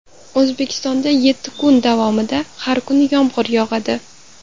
O‘zbekistonda yetti kun davomida har kuni yomg‘ir yog‘adi.